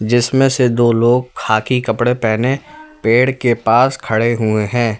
जिसमें से दो लोग खाकी कपड़े पहने पेड़ के पास खड़े हुए हैं।